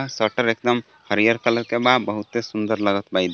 shutter एकदम हरियर colour के बा बहुते सुंदर लागत बा ई दु--